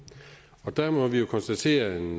på der må vi jo konstatere en